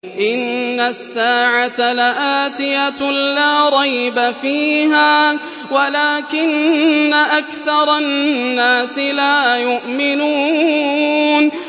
إِنَّ السَّاعَةَ لَآتِيَةٌ لَّا رَيْبَ فِيهَا وَلَٰكِنَّ أَكْثَرَ النَّاسِ لَا يُؤْمِنُونَ